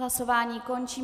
Hlasování končím.